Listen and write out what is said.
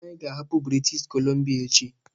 Anyị ga-ahapụ British Columbia echi!